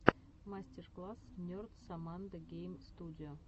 мастер класс нерд соммандо гейм студио